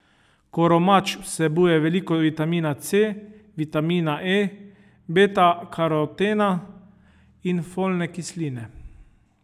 Koromač vsebuje veliko vitamina C, vitamina E, betakarotena in folne kisline.